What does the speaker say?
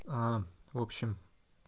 а в общем